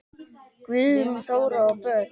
Guðrún Þóra og börn.